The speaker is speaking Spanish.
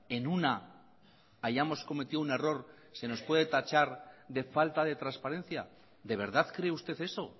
en una hayamos cometido un error se nos puede tachar de falta de transparencia de verdad cree usted eso